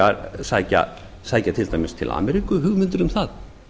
að það mætti til dæmis sækja til ameríku hugmyndir um það